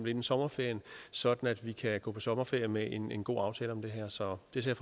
inden sommerferien sådan at vi kan gå på sommerferie med en en god aftale om det her så det ser